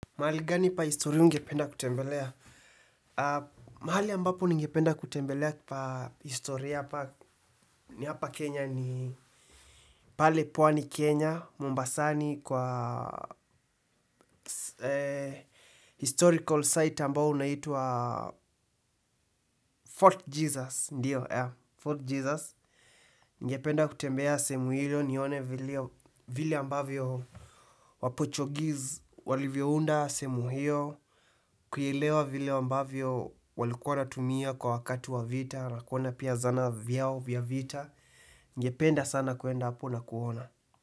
Mahali gani pa historia ungependa kutembelea? Mahali ambapo ningependa kutembelea pa historia ni hapa Kenya ni pale Pwani, Kenya, Mombasani kwa historical site ambao unaitwa Fort Jesus, ndio, yeah, Fort Jesus. Ningependa kutembea sehemu hiyo nione vile ambavyo wapochogiz walivyounda sehemu hiyo. Kuielewa vile ambavyo walikuwa wanatumia kwa wakati wa vita na kuona pia zana vyao vya vita. Ningependa sana kuenda hapo na kuona.